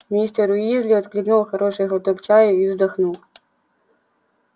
мистер уизли отхлебнул хороший глоток чаю и вздохнул